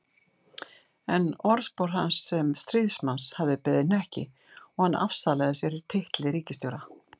En orðspor hans sem stríðsmanns hafði beðið hnekki og hann afsalaði sér titli ríkisstjóra.